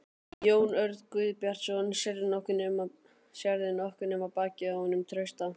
Jón Örn Guðbjartsson: Sérðu nokkuð nema bakið á honum Trausta?